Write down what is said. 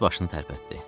Qız başını tərpətdi.